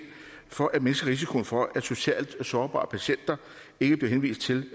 for at mindske risikoen for at socialt sårbare patienter ikke bliver henvist til